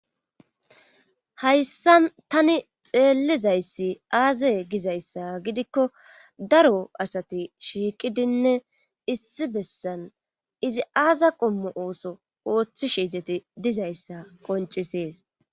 hayssan tani xeellizayssi aaze gizayssa gidikko daro asati shiiqidinne issi bessan izi aaza qommo ooso ooththi izet dizayssa qoncisees